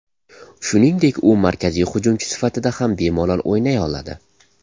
Shuningdek, u markaziy hujumchi sifatida ham bemalol o‘ynay oladi.